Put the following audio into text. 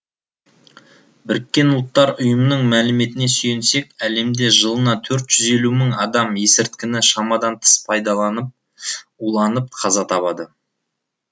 біріккен ұлттар ұйымының мәліметіне сүйенсек әлемде жылына төрт жүз елу мың адам есірткіні шамадан тыс пайдалып уланып қаза табады